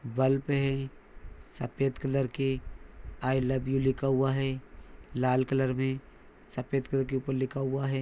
Bulb है सफ़ेद colour के। आइ लव यू लिखा हुआ है लाल कलर मे सफ़ेद कलर के ऊपर लिखा हुआ है।